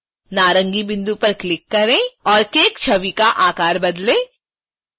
नारंगी बिंदु पर क्लिक करें और cake छवि का आकार बदलें